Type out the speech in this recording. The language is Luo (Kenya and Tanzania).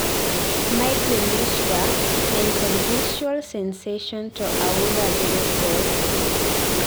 migrain wich bar, ng'eny kod visual sensation to aura bedo thoth